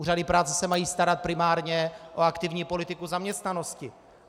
Úřady práce se mají starat primárně o aktivní politiku zaměstnanosti.